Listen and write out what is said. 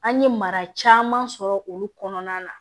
An ye mara caman sɔrɔ olu kɔnɔna na